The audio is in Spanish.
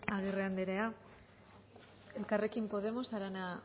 agirre anderea elkarrekin podemos arana